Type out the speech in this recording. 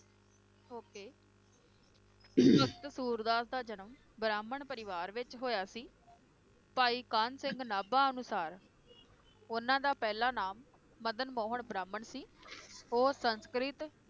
Okay Bhagat Surdas ਦਾ ਜਨਮ ਬ੍ਰਾਹਮਣ ਪਰਿਵਾਰ ਵਿਚ ਹੋਇਆ ਸੀ, ਭਾਈ ਕਾਨ ਸਿੰਘ ਨਾਭਾ ਅਨੁਸਾਰ ਉਹਨਾਂ ਦਾ ਪਹਿਲਾ ਨਾਮ ਮਦਨ ਮੋਹਨ ਬ੍ਰਾਹਮਣ ਸੀ ਉਹ ਸੰਸਕ੍ਰਿਤ,